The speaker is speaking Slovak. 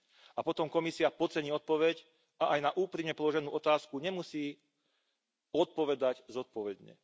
A potom Komisia podcení odpoveď a aj na úprimne položenú otázku nemusí odpovedať zodpovedne.